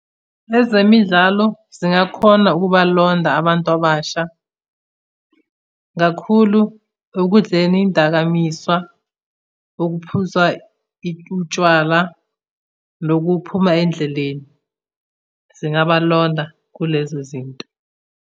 Ezemidlalo zingakhona ukubalonda abantu abasha kakhulu ekudleni iy'dakamizwa, ukuphuza utshwala, nokuphuma endleleni. Zingabalonda kulezo zinto.